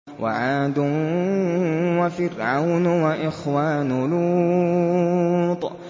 وَعَادٌ وَفِرْعَوْنُ وَإِخْوَانُ لُوطٍ